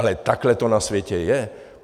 Ale takhle to na světě je.